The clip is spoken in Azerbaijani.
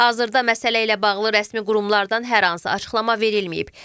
Hazırda məsələ ilə bağlı rəsmi qurumlardan hər hansı açıqlama verilməyib.